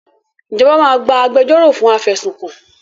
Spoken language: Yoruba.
Ìjọba máa gba agbẹjọ́ro fún afẹ̀sùnkàn